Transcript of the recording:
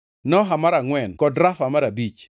Noha mar angʼwen kod Rafa mar abich.